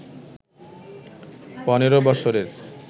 পনেরো বছরের